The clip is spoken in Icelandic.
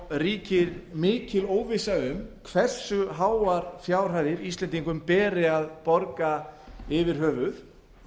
ríkir mikil óvissa um hversu háar fjárhæðir íslendingum beri að borga yfir höfuð